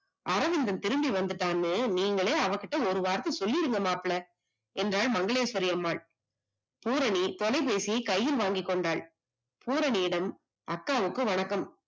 அரவிந்தன் திரும்பிவந்துட்டான்னு நீங்களே அவகிட்ட ஒரு வார்த்த சொல்லிருங்க மாப்ள, என்றாள் மங்களேஸ்வரிஅம்மாள், பூரணி தொலைபேசியை கையில் வாங்கிக்கொண்டாள் பூரணியிடம் அக்காவுக்கு வணக்கம்